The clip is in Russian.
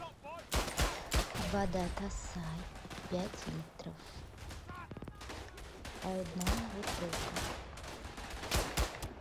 вода тассай пять литров одна бутылка